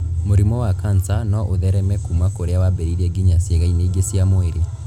Mũrimũ wa kanca no ũthereme kuuma kũrĩa wambĩrĩirie nginya ciĩga-inĩ ingĩ cia mwĩrĩ